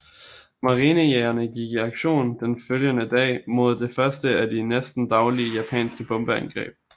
Marinejagerne gik i aktion den følgende dag mod det første af de næsten daglige japanske bombeangreb